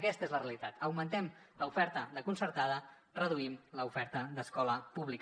aquesta és la realitat augmentem l’oferta de concertada reduïm l’oferta d’escola pública